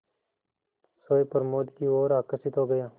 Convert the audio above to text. सोए प्रमोद की ओर आकर्षित हो गया